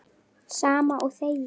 Sama og þegið!